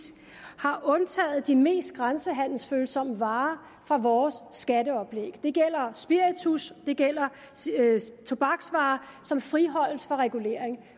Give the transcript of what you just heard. har undtaget de mest grænsehandelsfølsomme varer fra vores skatteoplæg det gælder spiritus og det gælder tobaksvarer som friholdes for regulering